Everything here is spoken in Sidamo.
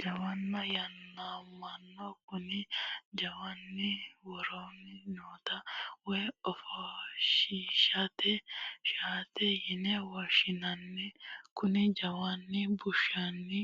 Jawanna yaamamanno, kuni jawanni worosiinni nootta woyi offoshinshanitta shaette yine woshinnanni, kuni jawanni bushunni